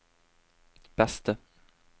beste